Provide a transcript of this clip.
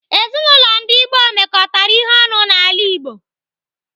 Ezinaụlọ ndi gboo mekọtara ihe ọnụ n'ala Igbo.